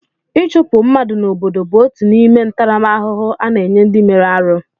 Ịchụpụ mmadụ n'obodo bụ otu n'ime ntaramahụhụ a na-enye ndị mere arụ.